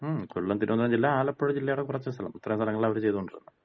മ്. കൊല്ലം, തിരുവനന്തപുരം ജില്ല, ആലപ്പുഴ ജില്ലേട കൊറച്ച് സ്ഥലം. ഇത്രേം സ്ഥലങ്ങളാണ് അവര് ചെയ്തോണ്ടിരുന്നത്.